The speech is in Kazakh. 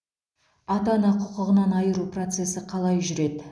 ата ана құқығынан айыру процесі қалай жүреді